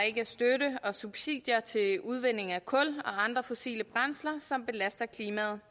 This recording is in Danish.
ikke er støtte og subsidier til udvinding af kul og andre fossile brændsler som belaster klimaet